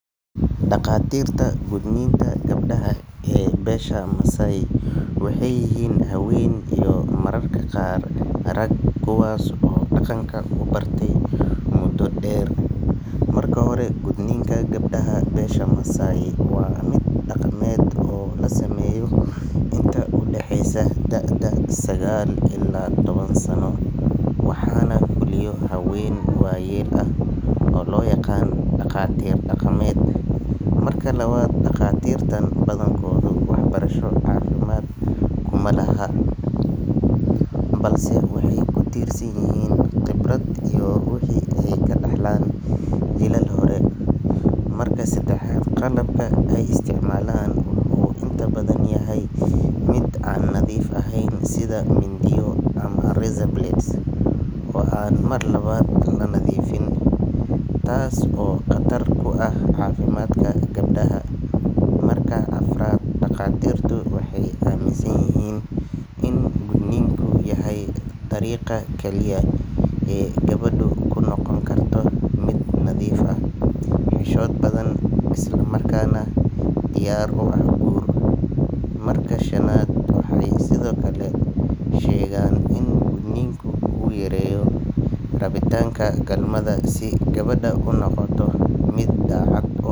Dhaqatirta gudniinka gabdhaha ee beesha Maasai waxay yihiin haween iyo mararka qaar rag, kuwaas oo dhaqanka u bartay muddo dheer. Marka hore, gudniinka gabdhaha beesha Maasai waa mid dhaqameed oo la sameeyo inta u dhaxaysa da’da sagaal ilaa toban sano, waxaana fuliyo haween waayeel ah oo loo yaqaanno dhaqatir dhaqameed. Marka labaad, dhaqatirtan badankoodu waxbarasho caafimaad kuma laha, balse waxay ku tiirsan yihiin khibrad iyo wixii ay ka dhaxleen jiilal hore. Marka saddexaad, qalabka ay isticmaalaan wuxuu inta badan yahay mid aan nadiif ahayn sida mindiyo ama razor blades oo aan mar labaad la nadiifin, taas oo khatar ku ah caafimaadka gabadha. Marka afraad, dhaqatirtu waxay aaminsan yihiin in gudniinku yahay dariiqa kaliya ee gabadhu ku noqon karto mid nadiif ah, xishood badan, islamarkaana diyaar u ah guur. Marka shanaad, waxay sidoo kale sheegaan in gudniinka uu yareeyo rabitaanka galmada si gabadhu u noqoto mid daacad u.